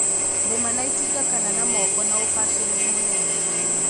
Rĩma na itinga kana na moko na ũbacirĩli mũnene